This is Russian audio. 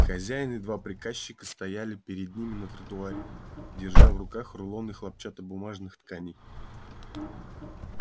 хозяин и два приказчика стояли перед ними на тротуаре держа в руках рулоны хлопчатобумажных тканей